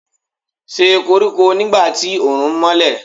Ṣe koriko nigba ti oorun nmọlẹ